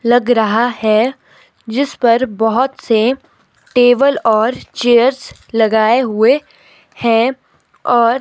लग रहा हैं जिस पर बहुत से टेबल और चेयर्स लगाए हुए हैं और--